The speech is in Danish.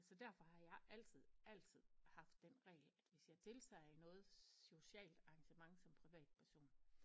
Så derfor har jeg altid altid haft den regel at hvis jeg deltager i noget socialt arrangement som privat person